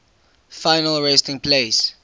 final resting place